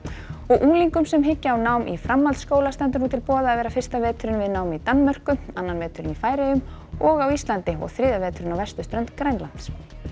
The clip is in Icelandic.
unglingum sem hyggja á nám í framhaldsskóla stendur nú til boða að vera fyrsta veturinn við nám í Danmörku annan veturinn í Færeyjum og á Íslandi og þriðja veturinn á vesturströnd Grænlands